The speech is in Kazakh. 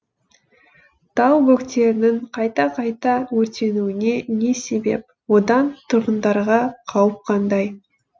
тау бөктерінің қайта қайта өртенуіне не себеп одан тұрғындарға қауіп қандай